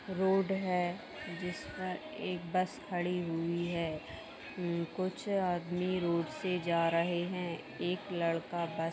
road है जिस पर एक बस खड़ी हुई है कुछ आदमी रोड से जा रहे है एक लड़का ब --